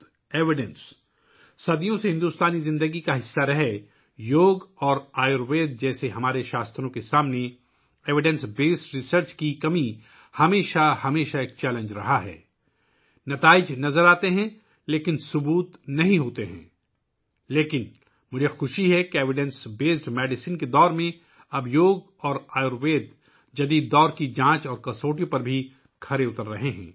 ہمارے صحیفوں جیسے یوگا اور آیوروید کے سامنے ثبوت پر مبنی تحقیق کا فقدان، جو صدیوں سے بھارتی زندگی کا حصہ رہے ہیں، ہمیشہ ایک چیلنج رہا ہے نتائج نظر آتے ہیں لیکن ثبوت نہیں ہے لیکن مجھے خوشی ہے کہ ثبوت پر مبنی ادویات کے دور میں، اب یوگا اور آیوروید جدید دور کے امتحانات سے گزر رہے ہیں